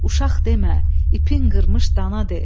Uşaq demə, ipin qırmış dana de.